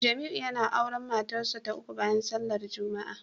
Jamiu yana auren matarsa ​​ta uku bayan sallar Juma'a